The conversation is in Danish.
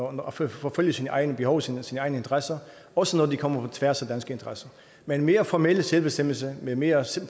og forfølge sine egne behov sine egne interesser også når de kommer på tværs af dansk interesse men mere formel selvbestemmelse med en mere